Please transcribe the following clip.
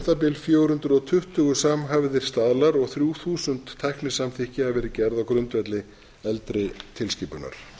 bil fjögur hundruð og tuttugu samhæfðir staðlar og þrjú þúsund tæknisamþykki hafa verið gerð á grundvelli eldri tilskipunar